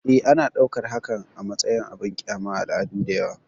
E, ana ɗaukar hakan a matsayin abin ƙyama a al'adu da yawa.